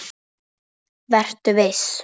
Vertu viss.